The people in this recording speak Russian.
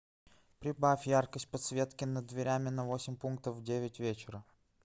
прибавь яркость подсветки над дверями на восемь пунктов в девять вечера